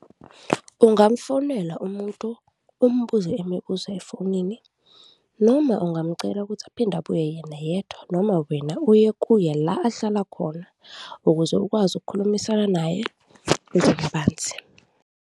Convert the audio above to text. Ungamfonela umuntu, umbuze imibuzo efonini noma ungamcela ukuthi aphinde abuye yena yedwa noma wena uye kuye la ahlala khona, ukuze ukwazi ukukhulumisana naye kabanzi.